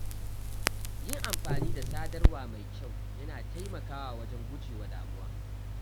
Yin amfani da sadarwa mai kyau yana taimakawa wajen gujewa damuwa.